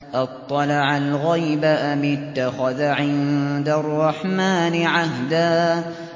أَطَّلَعَ الْغَيْبَ أَمِ اتَّخَذَ عِندَ الرَّحْمَٰنِ عَهْدًا